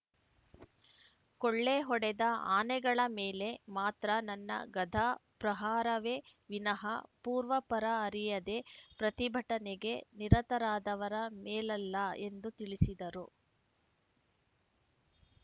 ಕೊಳ್ಳೆ ಹೊಡೆದ ಆನೆಗಳ ಮೇಲೆ ಮಾತ್ರ ನನ್ನ ಗಧಾ ಪ್ರಹಾರವೇ ವಿನಹ ಪೂರ್ವಾಪರ ಅರಿಯದೇ ಪ್ರತಿಭಟನೆಗೆ ನಿರತರಾದವರ ಮೇಲಲ್ಲ ಎಂದು ತಿಳಿಸಿದರು